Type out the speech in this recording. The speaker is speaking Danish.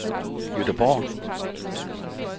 Gøteborg